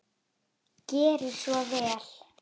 Gerið svo vel!